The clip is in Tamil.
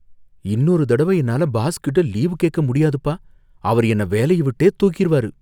இன்னொரு தடவ என்னால பாஸ்கிட்ட லீவு கேக்க முடியாதுப்பா. அவரு என்ன வேலைய விட்டே தூக்கிருவாரு.